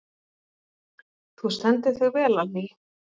Þú stendur þig vel, Allý!